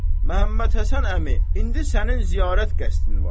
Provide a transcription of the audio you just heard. Məhəmməd Həsən əmi, indi sənin ziyarət qəsdin var.